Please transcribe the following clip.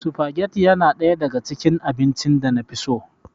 Sufageti yana ɗaya daga cikin abincin da na fi so.